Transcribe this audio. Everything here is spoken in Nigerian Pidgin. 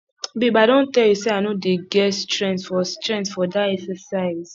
babe i don tell you say i no dey get strength for strength for dat exercise